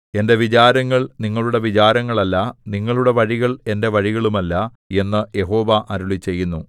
എന്റെ വിചാരങ്ങൾ നിങ്ങളുടെ വിചാരങ്ങൾ അല്ല നിങ്ങളുടെ വഴികൾ എന്റെ വഴികളുമല്ല എന്നു യഹോവ അരുളിച്ചെയ്യുന്നു